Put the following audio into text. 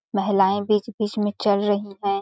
महिलाएं बीच-बीच में चल रही हैं।